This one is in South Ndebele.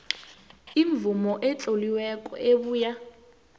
imvumo etloliweko ebuya